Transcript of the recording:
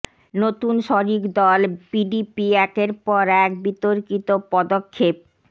নতুন শরিক দল পিডিপি একের পর এক বিতর্কিত পদক্ষেপ